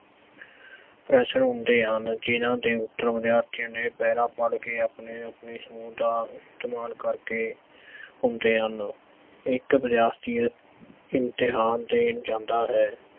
ਪ੍ਰਸ਼ਨ ਹੁੰਦੇ ਹਨ ਜਿੰਨ੍ਹਾਂ ਦੇ ਉੱਤਰ ਵਿਦਿਆਰਥੀਆਂ ਨੇ ਪਹਿਰਾ ਪੜ ਕੇ ਆਪਣੇ-ਆਪਣੇ ਸੂੰਹ ਦਾ ਇਸਤੇਮਾਲ ਕਰਕੇ ਹੁੰਦੇ ਹਨ। ਇੱਕ ਵਿਦਿਆਰਥੀ ਇਮਤਿਹਾਨ ਦੇਣ ਜਾਂਦਾ ਹੈ